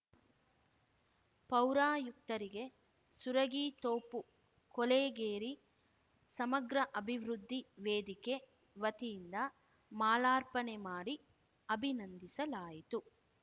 ಪೌರಾಯುಕ್ತರಿಗೆ ಸುರಗಿತೋಪು ಕೊಳೆಗೇರಿ ಸಮಗ್ರ ಅಭಿವೃದ್ಧಿ ವೇದಿಕೆ ವತಿಯಿಂದ ಮಾಲಾರ್ಪಣೆ ಮಾಡಿ ಅಭಿನಂದಿಸಲಾಯಿತು